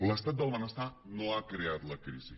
l’estat del benestar no ha creat la crisi